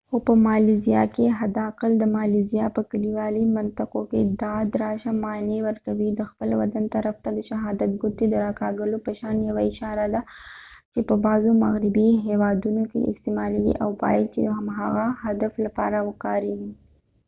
خو په مالیزیا کې حد اقل د مالیزیا په کلیوالي منطقو کې دا د راشه معنی ورکوي د خپل بدن طرف ته د شهادت ګوتې د را کږولو په شان یوه اشاره ده چې په بعضو مغربي هیوادونو کې استعمالیږي او باید چې د هماغه هدف لپاره وکاریږي